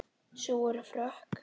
Sú er frökk!